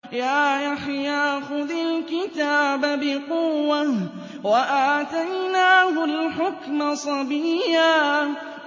يَا يَحْيَىٰ خُذِ الْكِتَابَ بِقُوَّةٍ ۖ وَآتَيْنَاهُ الْحُكْمَ صَبِيًّا